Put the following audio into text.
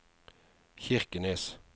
Kirkenes